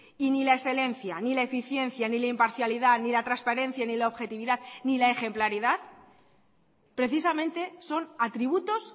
y ni la excelencia ni la eficiencia ni la imparcialidad ni la transparencia ni la objetividad ni la ejemplaridad precisamente son atributos